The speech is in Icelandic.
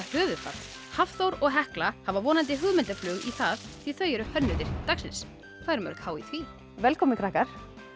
höfuðfat Hafþór og Hekla hafa vonandi hugmyndarflug í það því þau eru hönnuðir dagsins hvað eru mörg h í því velkomnir krakkar